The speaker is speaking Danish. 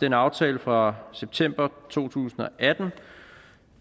den aftale fra september to tusind og atten